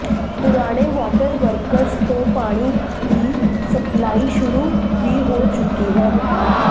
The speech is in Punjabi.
ਪੁਰਾਣੇ ਵਾਟਰ ਵਰਕਸ ਤੋਂ ਪਾਣੀ ਦੀ ਸਪਲਾਈ ਸ਼ੁਰੂ ਵੀ ਹੋ ਚੁੱਕੀ ਹੈ